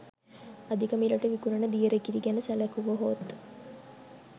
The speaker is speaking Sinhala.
අධික මිලට විකුණන දියර කිරි ගැන සැලකුවහොත්